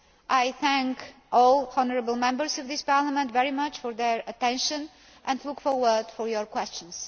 I thank all honourable Members of this Parliament very much for their attention and look forward to your questions.